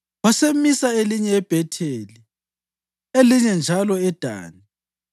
Wasemisa elinye eBhetheli, elinye njalo eDani.